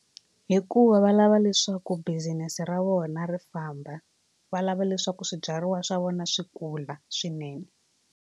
Hikuva va lava leswaku business ra vona ri famba va lava leswaku swibyariwa swa vona swi kula swinene.